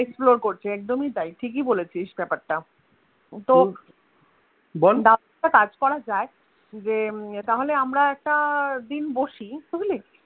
explore করছি একদমই তাই, ঠিকিই বলেছিস ব্যাপার টা কাজ করা যাই যে তাহলে আমরা একটা দিন বসি বুঝলি?